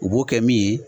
U b'o kɛ min ye